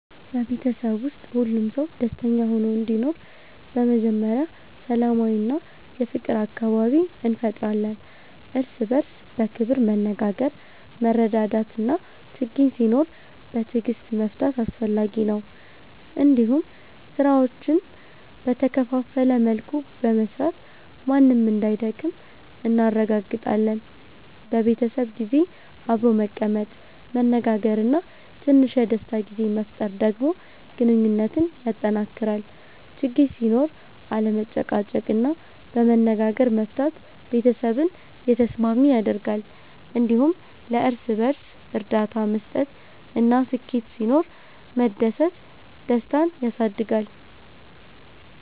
በቤተሰብ ውስጥ ሁሉም ሰው ደስተኛ ሆኖ እንዲኖር በመጀመሪያ ሰላማዊ እና የፍቅር አካባቢ እንፈጥራለን። እርስ በእርስ በክብር መነጋገር፣ መረዳዳት እና ችግኝ ሲኖር በትዕግስት መፍታት አስፈላጊ ነው። እንዲሁም ስራዎችን በተከፋፈለ መልኩ በመስራት ማንም እንዳይደክም እናረጋግጣለን። በቤተሰብ ጊዜ አብሮ መቀመጥ፣ መነጋገር እና ትንሽ የደስታ ጊዜ መፍጠር ደግሞ ግንኙነትን ያጠናክራል። ችግኝ ሲኖር አለመጨቃጨቅ እና በመነጋገር መፍታት ቤተሰብን የተስማሚ ያደርጋል። እንዲሁም ለእርስ በእርስ እርዳታ መስጠት እና ስኬት ሲኖር መደሰት ደስታን ያሳድጋል።